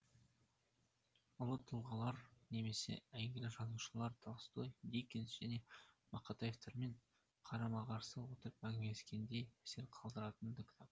ұлы тұлғалар немесе әйгілі жазушылар толстой диккенс және мақатаевтермен қарама қарсы отырып әңгімелескендей әсер қалдыратын да кітап